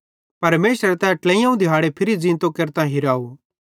परमेशरे तैए ट्लेइयोवं दिहाड़े फिरी ज़ींतो केरतां हिराव